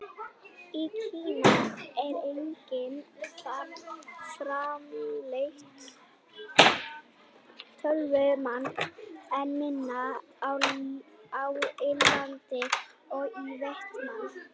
Í Kína er einnig framleitt töluvert magn, en minna á Indlandi og í Víetnam.